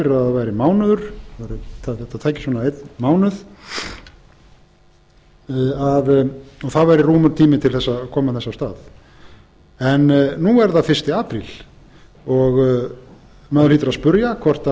fyrir að það væri mánuður þetta tæki svona einn mánuð að það væri rúmur tími til þess að koma þess af stað en nú er það fyrsta apríl maður hlýtur að spyrja